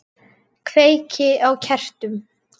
Kveiki á kertum.